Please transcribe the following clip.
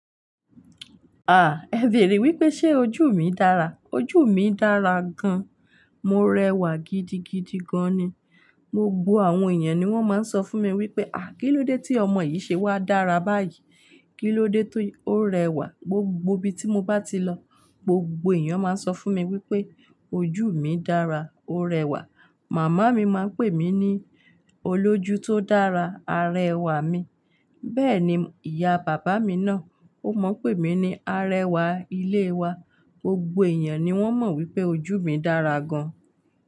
Ah! Ẹ bèèrè wípé ṣe ojú mi dára. Ojú mi dára gan. Mo rẹwà gidigidi gan ni. Gbogbo àwọn èèyàn ni wón máa ń sọ fún mi wípé, "àh! Kí ló dé tí ọmọ yìí ṣe wá dára báyìí? Kí ló dé tí ó rẹwà?" Gbogbo ibi tí mo bá ti lọ, gbogbo èèyàn máa ń sọ fún mi wípé ojú mi dára, ó rẹwà. Màmá mi máa ń pè mí ní olójú tó dára, arẹwà mi. Bẹ́ẹ̀ ni ìyá bàbá mi náà, ó mọ̀ n pè mí ní arẹwà ilé wa. Gbogbo èèyàn ni wón mọ̀ wípé ojú mi dára gan.